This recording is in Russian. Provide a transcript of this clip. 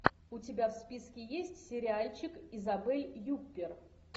у тебя в списке есть сериальчик изабель юппер